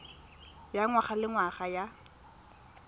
ya ngwaga le ngwaga ya